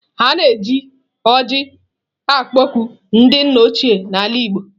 A na-eji ọjị akpọku ndị nna ochie na ala igbo.